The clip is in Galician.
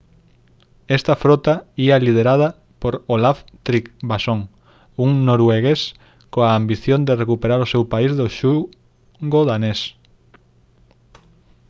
esta frota ía liderada por olaf trygvasson un noruegués coa ambición de recuperar o seu país do xugo danés